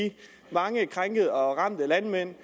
mange landmænd